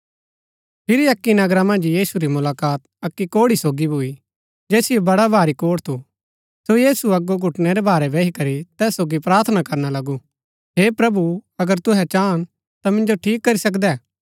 फिरी अक्की नगरा मन्ज यीशु री मुलाकात अक्की कोढ़ी सोगी भूई जैसिओ बडा भारी कोढ़ थू सो यीशु अगो घुटनै रै भारै बही करी तैस सोगी प्रार्थना करना लगू हे प्रभु अगर तूहै चाहन ता मिन्जो ठीक करी सकदै